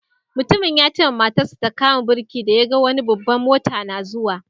Mutumin ya ce ma matar sa ta kama birki da ya gan wani babban mota na zuwa.